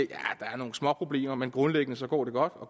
er nogle småproblemer men grundlæggende går godt og